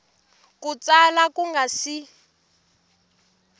ku tsala ku nga si